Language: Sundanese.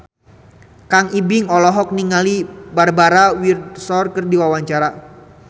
Kang Ibing olohok ningali Barbara Windsor keur diwawancara